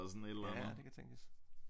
Ja det kan tænkes